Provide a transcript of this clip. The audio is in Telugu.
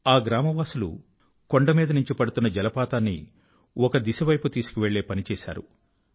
ఆ గ్రామ వాసులు కొండ మీద నుంచి పడుతున్న జలపాతాన్ని ఒక దిశ వైపు తీసుకువెళ్ళే పని చేశారు